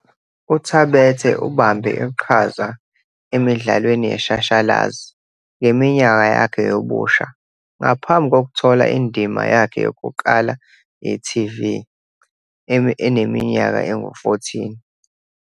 UThabethe ubambe iqhaza emidlalweni yeshashalazi ngeminyaka yakhe yobusha ngaphambi kokuthola indima yakhe yokuqala ye-TV eneminyaka engu-14.